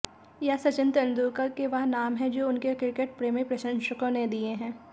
यह सचिन तेंदुलकर के वह नाम है जो उनके क्रिकेटप्रेमी प्रशंसकों ने दिए हैं